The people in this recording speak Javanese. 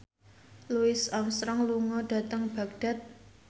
Louis Armstrong lunga dhateng Baghdad